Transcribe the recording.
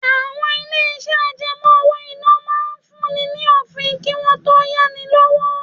Àwọn ilé-iṣẹ́ àjẹmọ́ owó-ìná máa ń fún ni ní òfin kí wọ́n tó yá ni lówó.